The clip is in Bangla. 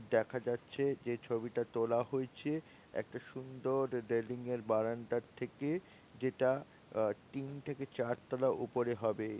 দেখা যাচ্ছে যে ছবিটা তোলা হয়েছে একটা সুন্দর রেলিং এর বারান্দার থেকে যেটা। তিন থেকে চার তলা উপরে হবে।